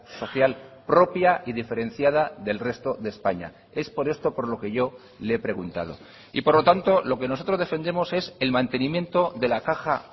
social propia y diferenciada del resto de españa es por esto por lo que yo le he preguntado y por lo tanto lo que nosotros defendemos es el mantenimiento de la caja